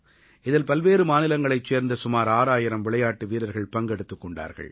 இதில் பல்வேறு மாநிலங்களைச் சேர்ந்த சுமார் 6000 விளையாட்டு வீரர்கள் பங்கெடுத்துக் கொண்டார்கள்